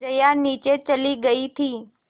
जया नीचे चली गई थी